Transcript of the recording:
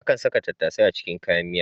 Akan saka tattasai a cikin miya.